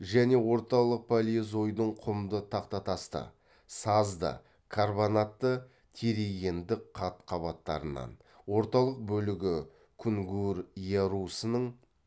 және орталық палеозойдың құмды тақтатасты сазды карбонатты терригендік қат қабаттарынан орталық бөлігі кунгур ярусының